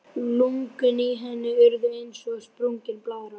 Lungun í henni urðu eins og sprungin blaðra.